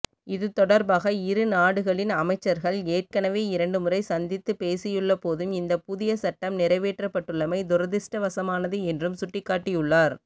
இதுதொடர்பாக இரு நாடுகளின் அமைச்சர்கள் ஏற்கனவே இரண்டுமுறை சந்தித்து பேசியுள்ளபோதும் இந்த புதிய சட்டம் நிறைவேற்றப்பட்டுள்ளமை துரதிர்ஷ்டவசமானது என்றும் சுட்டிக்காட்டியுள்ளார்